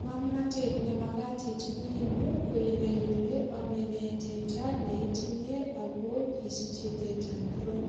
Ngamnatet ne magat itinye eng yu ko inai ile ame nee teta ne itinye ago kisiche teta ingiron,